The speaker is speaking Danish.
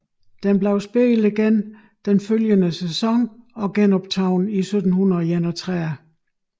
Den blev spillet igen den følgende sæson og genoptaget i 1731